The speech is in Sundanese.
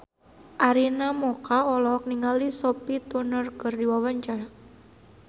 Arina Mocca olohok ningali Sophie Turner keur diwawancara